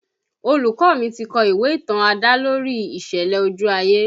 Olùkọ́ mi ti kọ ìwé ìtàn adalori ìṣẹ̀lẹ̀ ojú ayé